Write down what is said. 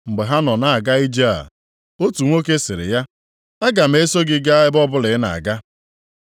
Mgbe ha nọ na-aga ije a, otu nwoke sịrị ya, “Aga m eso gị gaa ebe ọbụla ị na-aga.”